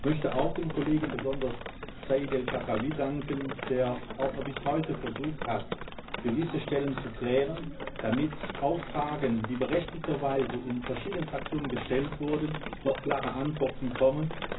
Ich möchte auch besonders dem Kollegen Saïd El Khadraoui danken, der noch bis heute versucht hat, gewisse Stellen zu klären, damit auf Fragen, die berechtigterweise in verschiedenen Fraktionen gestellt wurden, noch klare Antworten kommen.